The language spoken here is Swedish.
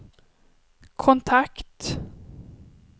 kontakt